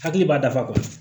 Hakili b'a dafa